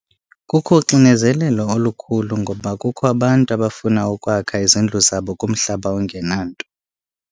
Kukho uxinizelelo olukhulu ngoba kukho abantu abafuna ukwakha izindlu zabo kumhlaba ongenanto.